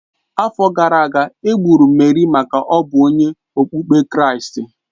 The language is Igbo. Afọ gara aga, e gburu Merị maka ọ bụ onye okpukpe kristi